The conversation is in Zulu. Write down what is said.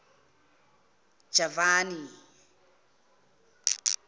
javani